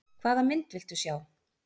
Hvaða mynd viltu sjá?